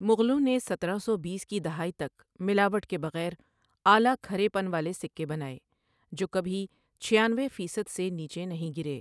مغلوں نے سترہ سو بیس کی دہائی تک ملاوٹ کے بغیر اعلیٰ کھرے پن والے سکے بنائے، جو کبھی چھیانوے فیصد سے نیچے نہیں گرے۔